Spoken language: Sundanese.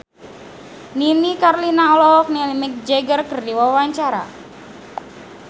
Nini Carlina olohok ningali Mick Jagger keur diwawancara